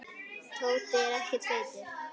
Tóti er ekkert feitur.